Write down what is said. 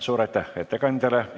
Suur aitäh ettekandjale!